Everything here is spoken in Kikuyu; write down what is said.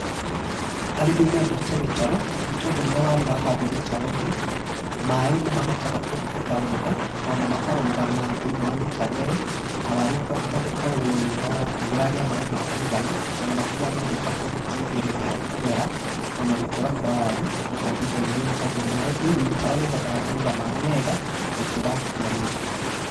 Arĩmi mendete mĩtaro nĩ tondũ rĩrĩa waru wa handwo mĩtaro-inĩ, maĩ nĩ mahotaga kũhũthĩka wega ona makarũgama thĩ-iniĩ wa mĩtari ĩyo na waru ũkahota gũkorwo nĩ ũragĩa maĩ ma kũigana onamakĩria ya mothe ũkahota gũteithĩrĩria harĩ kũmera ona gũkũra kwa waru o kwa ihinda inene nĩ tondũ maĩ, mĩtaro nĩ ĩhotaga kũiga mĩ wega gũkĩra marima.